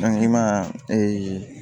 i ma